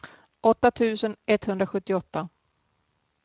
åtta tusen etthundrasjuttioåtta